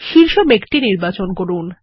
শীর্ষ মেঘটি নির্বাচন করুন